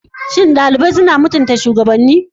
Shin ɗalibai suna mutunta shugabanni?